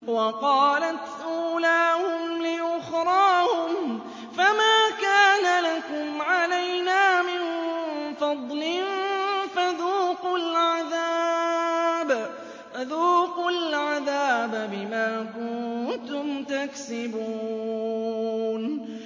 وَقَالَتْ أُولَاهُمْ لِأُخْرَاهُمْ فَمَا كَانَ لَكُمْ عَلَيْنَا مِن فَضْلٍ فَذُوقُوا الْعَذَابَ بِمَا كُنتُمْ تَكْسِبُونَ